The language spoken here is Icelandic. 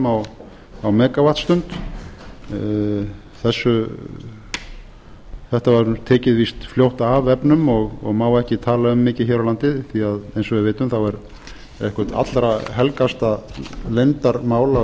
af þrjátíu dollurum á megavattstund þetta var víst tekið fljótt af vefnum og má ekki tala um mikið hér á landi því eins og við vitum er einhvað allra helgasta leyndarmál á